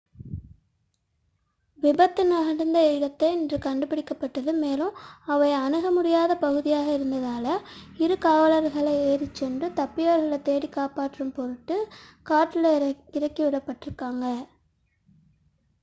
விபத்து நிகழ்ந்த இடம் இன்று கண்டுபிடிக்கப்பட்டது மேலும் அவை அணுக முடியாத பகுதியாக இருந்ததால் இரு காவலர்கள் ஏறிச்சென்று தப்பியவர்களை தேடி காப்பாற்றும் பொருட்டு காட்டில் இறக்கி விடப்பட்டனர்